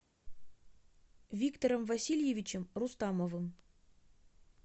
виктором васильевичем рустамовым